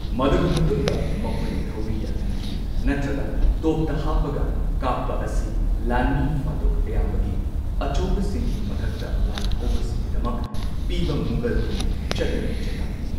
ꯃꯗꯨꯒꯤ ꯃꯇꯨꯡꯗ ꯃꯈꯣꯏꯅ ꯊꯧꯔꯤ ꯌꯥꯜꯍꯟꯈꯤ ꯅꯠꯇ꯭ꯔꯒ ꯇꯣꯞꯇ ꯍꯥꯞꯄꯒ ꯀꯥꯞꯄ ꯑꯁꯤ ꯂꯥꯟꯃꯤ ꯐꯥꯗꯣꯛ ꯑꯌꯥꯝꯕꯒꯤ ꯑꯆꯧꯕꯁꯤꯡꯒꯤ ꯃꯊꯛꯇ ꯂꯥꯜꯍꯧꯕꯁꯤꯡꯒꯤꯗꯃꯛ ꯄꯤꯕ ꯃꯨꯘꯜꯒꯤ ꯆꯠꯅꯕꯤ ꯆꯩꯔꯥꯛꯅꯤ꯫